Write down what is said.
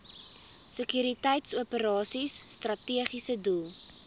sekuriteitsoperasies strategiese doel